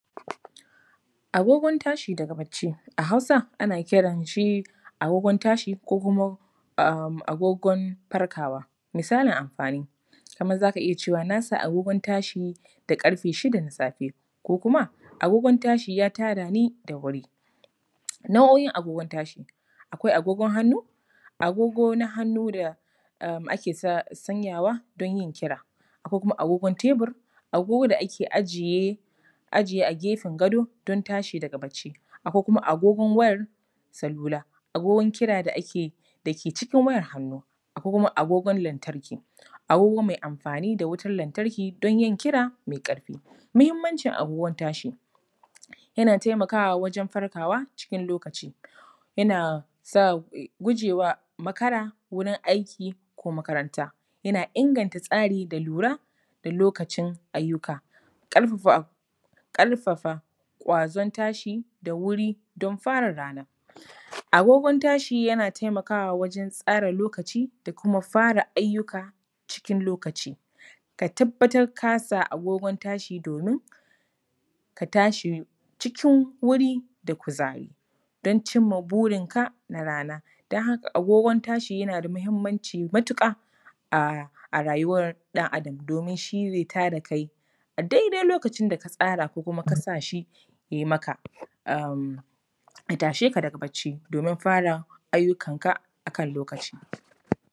Agogon tashi daga barci. A Hausa ana kiran shi, agogon tashi ko kuma agogon farkawa. Misalin amfani: za ka iya cewa, ‘na sa agogon tashi da ƙarfe shida na safe’, ko kuma, ‘agogon tashi ya tada ni da wuri’. Nau’o’in agogon tashi: akwai agogon hannu, agogo na hannu da ake sanyawa don yin kira. Akwai kuma agogon tebur, agogo da ake ajiye a gefen gado don tashidaga barci. Akwai kuma agogon wayar salula, agogon waya da ke cikin wayar hannu. Akwai kuma agogon lantarki, agogo mai amfani da wutar lantarki don yin kira mai ƙarfi. Muhimmancin agogon tashi: yana taimakwa wajen farkawa cikin lokaci, yana sa wa, guje wa makara wurin aiki ko makaranta. Yana inganta tsari da lura da lokacin ayyuka. Ƙarfafa ƙwazon tashi don fara rana. Agogon tashi yana taimakawa wajen tsara lokaci da kuma fara ayuka cikin lokaci. Ka tabbatar ka sa agogon tashi domin ka tsahi cikin wuri da kuzari. Don cin ma burinka na rana. Don haka agogon tashi yana da muhimmanci matuƙa a rayuwar ɗan Adam domin shi zai ta da kai a daidai lokacin da ka tsara ko kuma ka sa shi ya yi maka, ya tashe ka daga barci domin fara ayyukanka a kan lokaci.